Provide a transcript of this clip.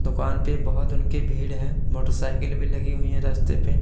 दुकान पे बहुत उनके भीड़ है मोटर साइकिल भी लगी हुई है रास्ते पे।